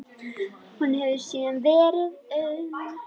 Þar hefur síðan verið auðn.